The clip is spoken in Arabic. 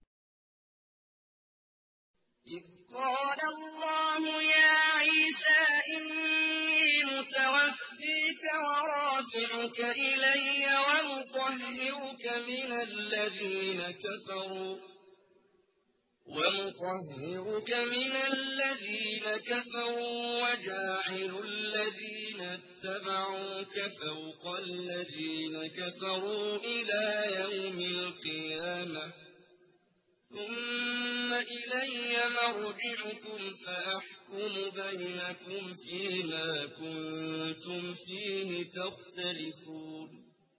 إِذْ قَالَ اللَّهُ يَا عِيسَىٰ إِنِّي مُتَوَفِّيكَ وَرَافِعُكَ إِلَيَّ وَمُطَهِّرُكَ مِنَ الَّذِينَ كَفَرُوا وَجَاعِلُ الَّذِينَ اتَّبَعُوكَ فَوْقَ الَّذِينَ كَفَرُوا إِلَىٰ يَوْمِ الْقِيَامَةِ ۖ ثُمَّ إِلَيَّ مَرْجِعُكُمْ فَأَحْكُمُ بَيْنَكُمْ فِيمَا كُنتُمْ فِيهِ تَخْتَلِفُونَ